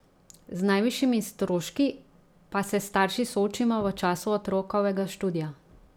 Z najvišjimi stroški pa se starši soočimo v času otrokovega študija.